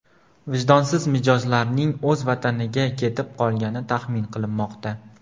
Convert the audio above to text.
Vijdonsiz mijozlarning o‘z vataniga ketib qolgani taxmin qilinmoqda.